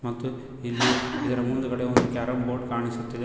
ಮತ್ತು ಇಲ್ಲಿ ಇದರ ಮುಂದುಗಡೆ ಒಂದು ಕೇರಂ ಬೋರ್ಡ್ ಕಾಣಿಸುತ್ತಿದೆ.